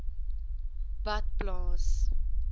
badplaas